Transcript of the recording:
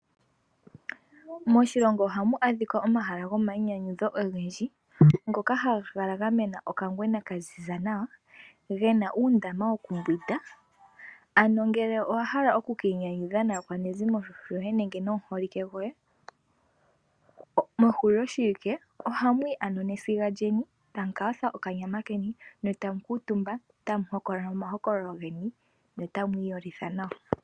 Moshilongo ohamu adhika omahala gomainyanyudho ogendji ngoka haga kala ga mena okangwena ka ziza nawa gena uundama wokumbwida, ano ngele owa hala oku kiinyanyudha naakwanezimo yoye nenge nomuholike goye mehuliloshiwike oha mu yi ano nesiga lyeni tamu ka yotha okanyama keni ne tamu kuutumba tamu hokolola omahokololo geni ne tamu imemeha.